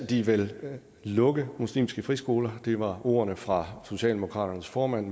de vil lukke muslimske friskoler det var ordene fra socialdemokratiets formand